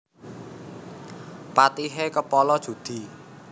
Patihe kepala judhi